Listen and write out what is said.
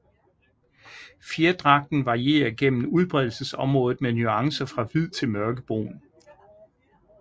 Fjerdragten varierer gennem udbredelsesområdet med nuancer fra hvid til mørkebrun